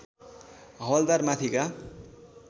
हवल्दार माथिका